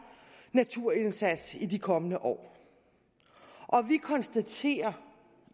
naturindsats i de kommende år og vi konstaterer